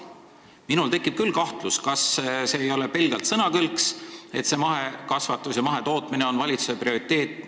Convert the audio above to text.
Minul tekib küll kahtlus, kas see ei ole pelgalt sõnakõlks, et mahekasvatus ja mahetootmine on valitsuse prioriteet.